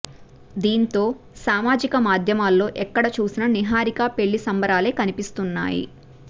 దీంతో సామాజిక మాధ్యమాల్లో ఎక్కడ చూసినా నిహారిక పెళ్లి సంబరాలే కనిపిస్తున్నాయి